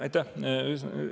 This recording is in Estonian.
Aitäh!